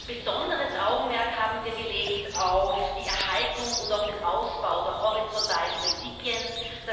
Besonderes Augenmerk haben wir auf die Erhaltung und auch den Ausbau der horizontalen Prinzipien gelegt.